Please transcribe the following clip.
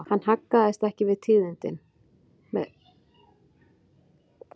Hann haggaðist ekki við tíðindin, með engu móti varð séð að honum brygði hið minnsta.